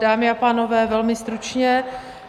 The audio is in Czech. Dámy a pánové, velmi stručně.